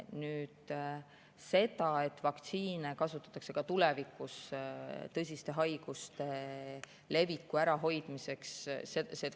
Vaktsiine kasutatakse kahtlemata ka tulevikus tõsiste haiguste leviku ärahoidmiseks.